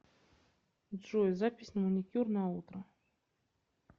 джой запись на маникюр на утро